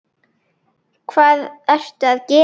Hvað ertu að gera!